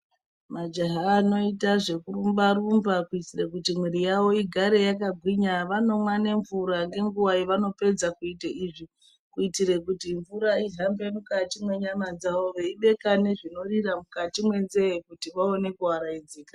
Majaha anoita zvekurumba rumba kuitira kuti mwiri yavo igare yakagwinya vanomwa nemvura ngunguwa yavanopedza kuita izvi kuitira kuti mvura kuhambe mukati mwenyama dzavo veibeka nezvinorira mukati mwenzee kuti vaone kuarayidzika.